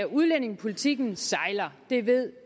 udlændingepolitikken sejler det ved